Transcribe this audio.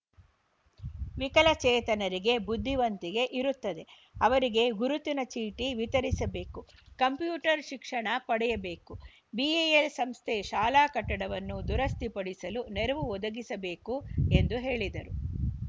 ವಿಕಲಚೇತನರಿಗೆ ಬುದ್ಧಿವಂತಿಕೆ ಇರುತ್ತದೆ ಅವರಿಗೆ ಗುರುತಿನ ಚೀಟಿ ವಿತರಿಸಬೇಕು ಕಂಪ್ಯೂಟರ್‌ ಶಿಕ್ಷಣ ಪಡೆಯಬೇಕು ಬಿಇಎಲ್‌ ಸಂಸ್ಥೆ ಶಾಲಾ ಕಟ್ಟಡವನ್ನು ದುರಸ್ತಿಪಡಿಸಲು ನೆರವು ಒದಗಿಸಬೇಕು ಎಂದು ಹೇಳಿದರು